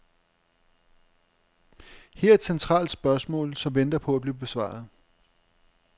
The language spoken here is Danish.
Her er et centralt spørgsmål, som venter på at blive besvaret.